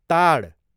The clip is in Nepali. ताड